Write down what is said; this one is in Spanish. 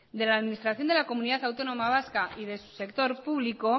de la administración de la comunidad autónoma vasca y de su sector público